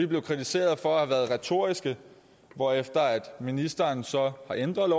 blevet kritiseret for at have været retoriske hvorefter ministeren så har ændret